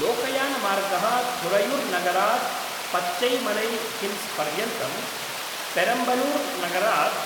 लोकयानमार्गः थुरैयुर्नगरात् पच्चैमलैहिल्स्पर्यन्तं, पेरम्बलूर्नगरात्